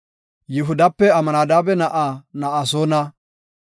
Yihudape Amnadaabe na7aa Na7asoona;